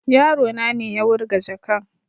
Yaro na ne ya wurga jakan